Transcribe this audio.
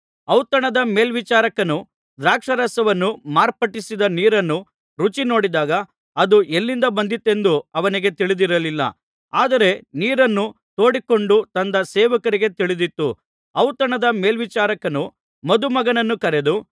ಔತಣದ ಮೇಲ್ವಿಚಾರಕನು ದ್ರಾಕ್ಷಾರಸವಾಗಿ ಮಾರ್ಪಟ್ಟಿದ್ದ ನೀರನ್ನು ರುಚಿನೋಡಿದಾಗ ಅದು ಎಲ್ಲಿಂದ ಬಂದಿತೆಂದು ಅವನಿಗೆ ತಿಳಿದಿರಲಿಲ್ಲ ಆದರೆ ನೀರನ್ನು ತೋಡಿಕೊಂಡು ತಂದ ಸೇವಕರಿಗೆ ತಿಳಿದಿತ್ತು ಔತಣದ ಮೇಲ್ವಿಚಾರಕನು ಮದುಮಗನನ್ನು ಕರೆದು